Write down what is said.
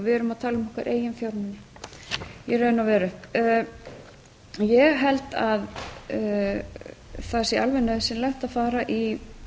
við erum að tala um okkar eigin fjármuni í raun og veru ég held að það sé alveg nauðsynlegt að fara í